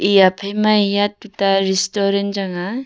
eya phai ma eya tuta restaurant chang a.